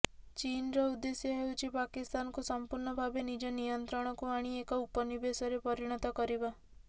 ଚୀନର ଉଦ୍ଦେଶ୍ୟ ହେଉଛି ପାକିସ୍ତାନକୁ ସଂପୂର୍ଣ୍ଣ ଭାବେ ନିଜ ନିୟନ୍ତ୍ରଣକୁ ଆଣି ଏକ ଉପନିବେଶରେ ପରିଣତ କରିବା